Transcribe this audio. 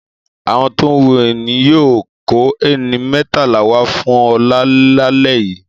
Àwọn tó ń hun ẹní yóò kó ẹni mẹ́tàlá wá fún Ọlá lálẹ́ yìí.